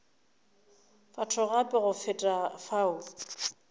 batho gape go feta fao